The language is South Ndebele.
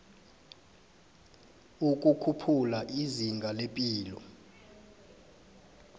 ukukhuphula izinga lepilo